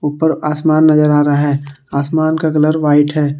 ऊपर आसमान नजर आ रहा है आसमान का कलर व्हाइट है।